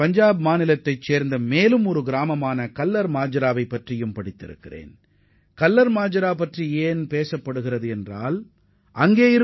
பஞ்சாபின் நாபா அருகே உள்ள கல்லர்மஜ்ரா என்ற கிராமத்தைப் பற்றியும் நான் படித்தேன்